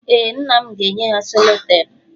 Ee, nna m ga-enye ha selotepụ.